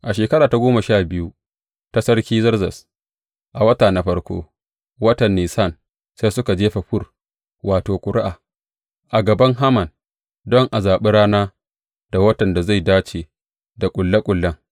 A shekara ta goma sha biyu ta Sarki Zerzes, a wata na farko, watan Nisan, sai suka jefa fur wato, ƙuri’a a gaban Haman don a zaɓi rana da watan da zai dace da ƙulle ƙullen.